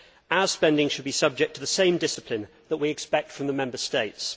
Our spending should be subject to the same discipline that we expect from the Member States.